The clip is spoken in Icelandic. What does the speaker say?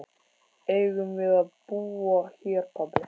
Eigum við að búa hér pabbi?